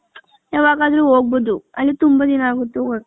ಯಾವಾಗ್ ಅದ್ರು ಹೋಗ್ಬೌದು ಅಲ್ಲಿ ತುಂಬಾ ದಿನ ಆಗುತ್ತೆ ಹೋಗಕ್ಕೆ .